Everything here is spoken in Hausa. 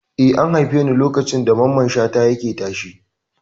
Eh, an haife ni lokacin da Mamman Shata yake tashe.